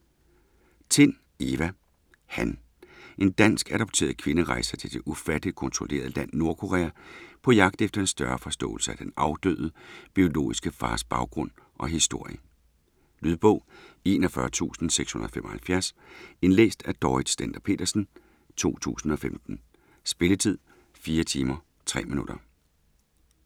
Tind, Eva: Han En dansk adopteret kvinde rejser til det ufatteligt kontrollerede land Nordkorea på jagt efter en større forståelse af den afdøde, biologiske fars baggrund og historie. Lydbog 41675 Indlæst af Dorrit Stender-Petersen, 2015. Spilletid: 4 timer, 3 minutter.